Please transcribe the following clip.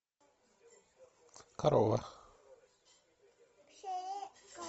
корова